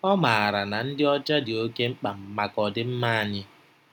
Ọ maara na ịdị ọcha dị oké mkpa maka ọdịmma anyị.